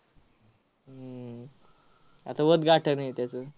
हम्म आता उद्घाटन आहे त्याचं.